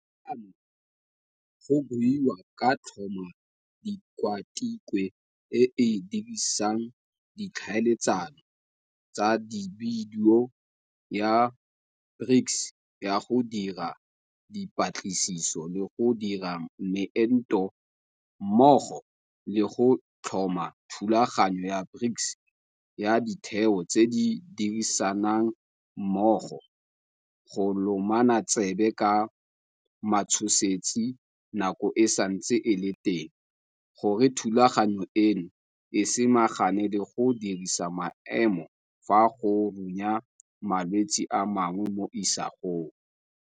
Fano go buiwa ka go tlhoma Tikwatikwe e e Dirisang Di tlhaeletsano tsa Dibidio ya BRICS ya go Dira Dipatlisiso le go Dira Meento mmogo le go tlhoma Thulaganyo ya BRICS ya Ditheo tse di Dirisanang Mmogo go Lomana Tsebe ka Matshosetsi Nako e Santse e le Teng gore thulaganyo eno e samagane le go disa maemo fa go runya malwetse a mangwe mo isagong.